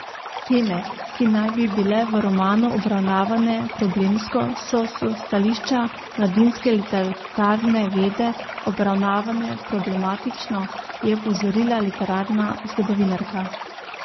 Teme, ki naj bi bile v romanu obravnavane problemsko, so s stališča mladinske literarne vede obravnavane problematično, je opozorila literarna zgodovinarka.